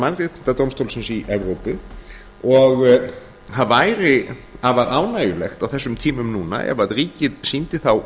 mannréttindadómstólsins í evrópu og það væri afar ánægjulegt á þessum tímum núna ef ríkið sýndi þá